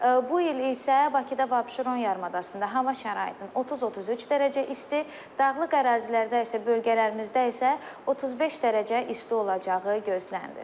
Bu il isə Bakıda və Abşeron yarımadasında hava şəraitinin 30-33 dərəcə isti, dağlıq ərazilərdə isə, bölgələrimizdə isə 35 dərəcə isti olacağı gözlənilir.